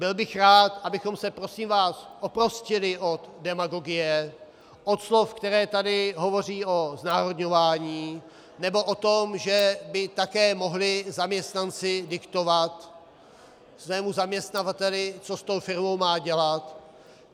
Byl bych rád, abychom se prosím vás oprostili od demagogie, od slov, která tady hovoří o znárodňování nebo o tom, že by také mohli zaměstnanci diktovat svému zaměstnavateli, co s tou firmou má dělat.